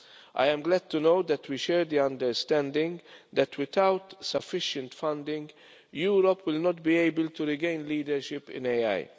I am glad to know that we share the understanding that without sufficient funding, Europe will not be able to regain leadership in AI.